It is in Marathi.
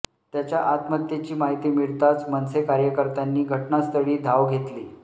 त्याच्या आत्महत्येची माहिती मिळताच मनसे कार्यकर्त्यांनी घटनास्थळी धाव घेतली